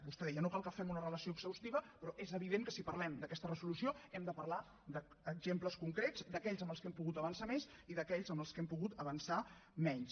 vostè deia no cal que fem una relació exhaustiva però és evident que si parlem d’aquesta resolució hem de parlar d’exemples concrets d’aquells en els que hem pogut avançar més i d’aquells en els que hem pogut avançar menys